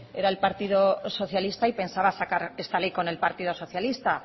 era el partido socialista y pensaba sacar esta ley con el partido socialista